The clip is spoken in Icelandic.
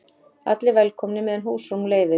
Allir velkomnir meðan húsrúm leyfir